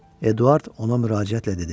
Eduard ona müraciətlə dedi: